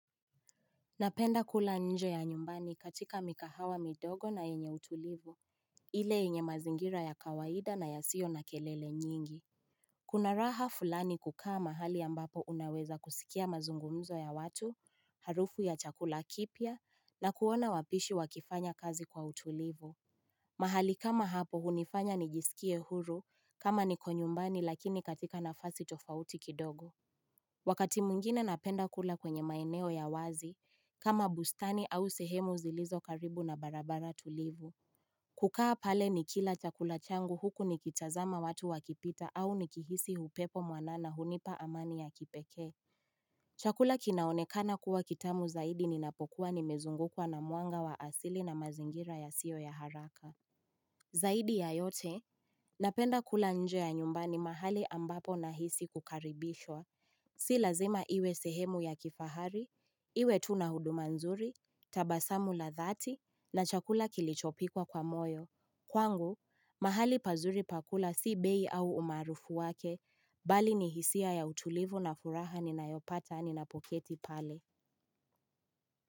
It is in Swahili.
Napenda kula nje ya nyumbani katika mikahawa midogo na enye utulivu. Ile yenye mazingira ya kawaida na yasio na kelele nyingi. Kuna raha fulani kukaa mahali ambapo unaweza kusikia mazungumzo ya watu, harufu ya chakula kipya, na kuona wapishi wakifanya kazi kwa utulivu. Mahali kama hapo hunifanya nijisikie huru kama niko nyumbani lakini katika nafasi tofauti kidogo. Wakati mwingine napenda kula kwenye maeneo ya wazi, kama bustani au sehemu zilizo karibu na barabara tulivu. Kukaa pale nikila chakula changu huku nikitazama watu wakipita au nikihisi hupepo mwanana hunipa amani ya kipekee. Chakula kinaonekana kuwa kitamu zaidi ninapokuwa nimezungukwa na mwanga wa asili na mazingira yasio ya haraka. Zaidi ya yote, napenda kula nje ya nyumbani mahali ambapo nahisi kukaribishwa. Si lazima iwe sehemu ya kifahari, iwe tu na huduma nzuri, tabasamu la dhati na chakula kilichopikwa kwa moyo. Kwangu, mahali pazuri pa kula si bei au umaarufu wake, bali ni hisia ya utulivu na furaha ninayopata ninapoketi pale.